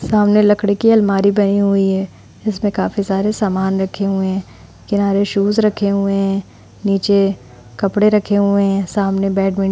सामने लकड़ी की अलमारी बनी हुई है जिसमें काफी सारे सामान रखे हुए है। किनारे शूज रखे हुए है नीचे कपड़े रखे हुए है सामने बैडमिन --